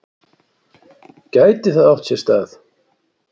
Gæti það átt sér stað?